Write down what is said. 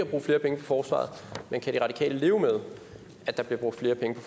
bruge flere penge på forsvaret men kan de radikale leve med at der bliver brugt flere penge på